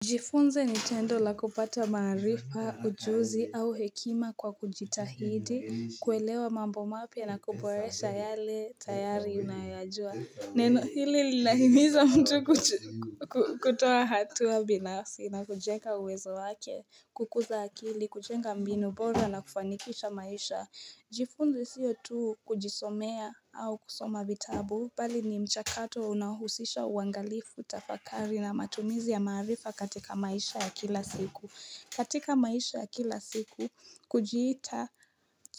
Jifunze nitendo la kupata maarifa, ujuzi au hekima kwa kujitahidi, kuelewa mambo mapya na kuporesha yale tayari unayoyajua. Neno hili linahimiza mtu kutoa hatua binafsi na kujenga uwezo wake, kukuza akili, kujenga mbinu bora na kufanikisha maisha. Jifunze siyo tu kujisomea au kusoma vitabu bali ni mchakato unahusisha uangalifu tafakari na matumizi ya maarifa katika maisha ya kila siku. Katika maisha ya kila siku kujiita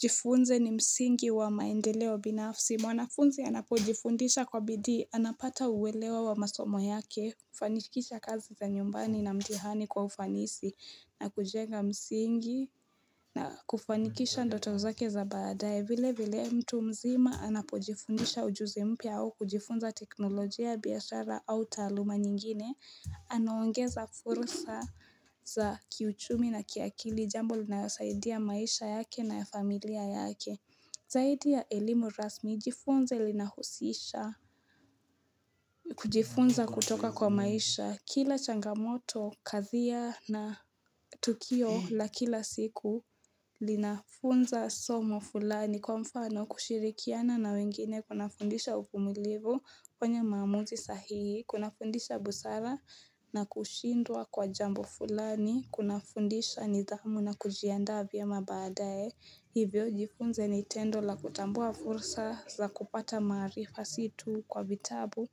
jifunze ni msingi wa maendeleo binafsi. Mwanafunzi anapojifundisha kwa bidii anapata uwelewa wa masomo yake kufanikisha kazi za nyumbani na mtihani kwa ufanisi na kujenga msingi na kufanikisha ndoto zake za baadaye. Vile vile mtu mzima anapojifundisha ujuzi mpya au kujifunza teknolojia, biashara au taaluma nyingine Anaongeza furusa za kiuchumi na kiakili jambo linayosaidia maisha yake na ya familia yake Zaidi ya elimu rasmi jifunze linahusisha kujifunza kutoka kwa maisha kila changamoto kathia na tukio la kila siku linafunza somo fulani kwa mfano kushirikiana na wengine, kuna fundisha uvumilivu, kufanya maamuzi sahihi, kuna fundisha busara na kushindwa kwa jambo fulani, kuna fundisha nidhamu na kujianda vyema baadae Hivyo jifunze ni tendo la kutambua fursa za kupata maarifa si tu kwa vitabu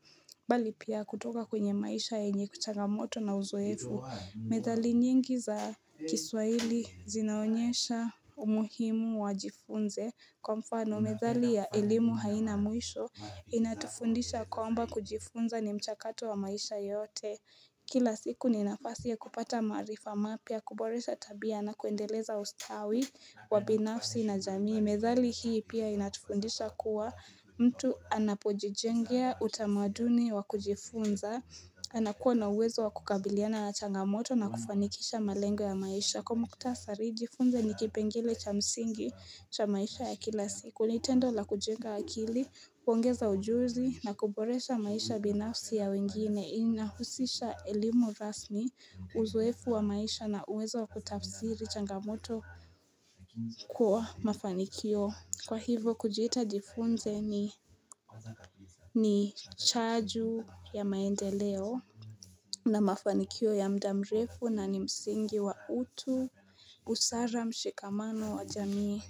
bali pia kutoka kwenye maisha yenye kuchangamoto na uzoefu. Methali nyingi za kiswaili zinaonyesha umuhimu wa jifunze Kwa mfano methali ya elimu haina mwisho inatufundisha kwamba kujifunza ni mchakato wa maisha yote Kila siku ni nafasi ya kupata maarifa mapya, kuboresha tabia na kuendeleza ustawi wa binafsi na jamii. Methali hii pia inatufundisha kuwa mtu anapojijengea utamaduni wa kujifunza anakuwa na uwezo wa kukabiliana na changamoto na kufanikisha malengo ya maisha. Kwa mkhutasari jifunze ni kipengele cha msingi cha maisha ya kila siku, nitendo la kujenga akili, kuongeza ujuzi na kuboresha maisha binafsi ya wengine, inahusisha elimu rasmi uzoefu wa maisha na uwezo wa kutafsiri changamoto kwa mafanikio. Kwa hivo, kujiita jifunze ni chaju ya maendeleo na mafanikio ya muda mrefu na ni msingi wa utu, busara, mshikamano wa jamii.